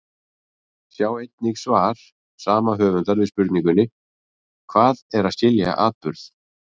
Sjá einnig svar sama höfundar við spurningunni Hvað er að skilja atburð?